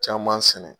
Caman sɛnɛ